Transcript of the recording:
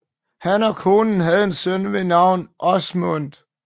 Han og konen havde en søn ved navn Åsmund